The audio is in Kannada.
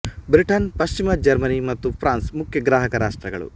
ಬ್ರಿಟನ್ ಪಶ್ಚಿಮ ಜರ್ಮನಿ ಮತ್ತು ಫ್ರಾನ್ಸ್ ಮುಖ್ಯ ಗ್ರಾಹಕ ರಾಷ್ಟ್ರಗಳು